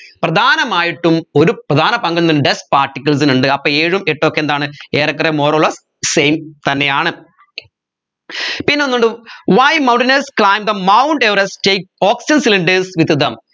പ്രധാനമായിട്ടും ഒരു പ്രധാന പങ്ക് എന്തിന് dust particles ന് ഉണ്ട് അപ്പോ ഏഴും എട്ടും ഒക്കെ എന്താണ് ഏറെ കുറെ more over same തന്നെയാണ് പിന്നെ ഒന്നുണ്ട് why mountainers climb the mount everest take oxygen cylinders with them